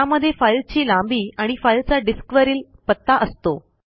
त्यामध्ये फाईलची लांबी आणि फाईलचा डिस्कवरील पत्ता असतो